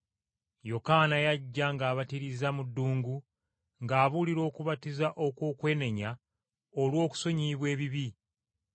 Yokaana yajja ng’abatiriza mu ddungu, ng’abuulira okubatiza okw’okwenenya olw’okusonyiyibwa ebibi.